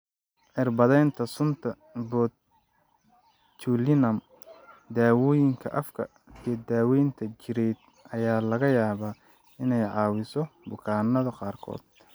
Cirbadeynta sunta botulinum, daawooyinka afka, iyo daaweynta jireed ayaa laga yaabaa inay caawiso bukaanada qaarkood.